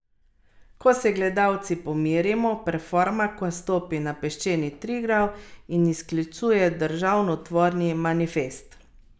General ga je dal zapreti v ropotarnico za garderobo v kavarni.